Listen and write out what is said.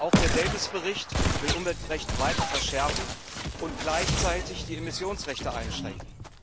Auch der Bericht Davies will Umweltrecht weiter verschärfen und gleichzeitig die Emissionsrechte einschränken.